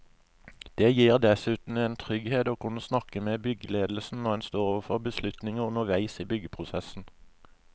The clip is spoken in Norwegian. Det gir dessuten en trygghet å kunne snakke med byggeledelsen når en står overfor beslutninger underveis i byggeprosessen.